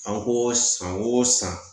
An ko san o san